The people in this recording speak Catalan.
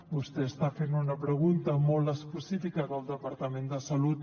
vostè està fent una pregunta molt específica del departament de salut